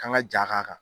Kan ka ja k'a kan